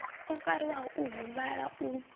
o fariwaho o huvhala u